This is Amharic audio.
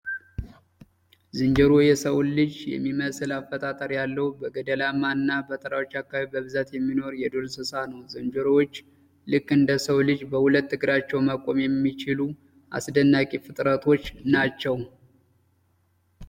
ዝንጀሮ የሰውን ልጅ የሚመስል አፈጣጠር ያለው በገደላማ እና በተራሮች አካባቢ በብዛት የሚኖር የዱር እንስሳ ነው። ዝንጀሮዎች ልክ እንደሰው ልጅ በሁለት እግራቸው መቆም የሚችሉ አስደናቂ ፍጥረቶች ናቸው።